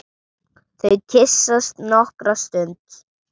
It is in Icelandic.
Þau kyssast nokkra stund.